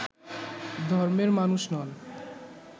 ধর্মের মানুষ নন